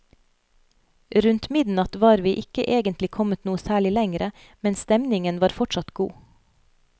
Rundt midnatt var vi ikke egentlig kommet noe særlig lengre, men stemningen var fortsatt god.